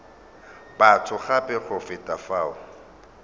batho gape go feta fao